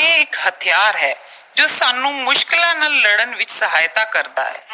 ਇਹ ਇੱਕ ਹਥਿਆਰ ਹੈ, ਜੋ ਸਾਨੂੰ ਮੁਸ਼ਕਿਲਾਂ ਨਾਲ ਲੜਨ ਵਿੱਚ ਸਹਾਇਤਾ ਕਰਦਾ ਹੈ।